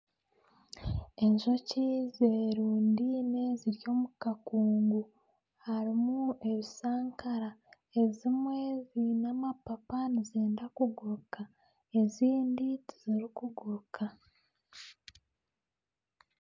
Enjoki zerundiine ziri omu kakungu. Harimu ebishankara, ezimwe ziine amapapa nizenda kuguruka, ezindi tiziri kuguruka.